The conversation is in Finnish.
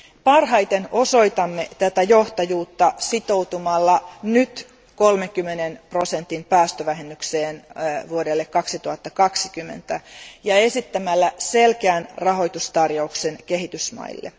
Parhaiten osoitamme johtajuutta sitoutumalla nyt 30 prosentin päästövähennykseen vuodelle 2020 ja esittämällä selkeän rahoitustarjouksen kehitysmaille.